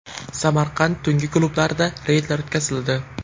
Samarqand tungi klublarida reydlar o‘tkazildi.